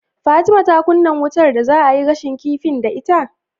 Fatima ta kunnan wutar da za'ayi gashin kifin da ita?